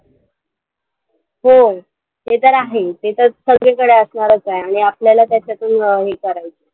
हम्म ते तर आहेच. ते तर सगळीकडे असणारच आहे आणि आपल्याला त्याच्यातून अं हे करायचंय.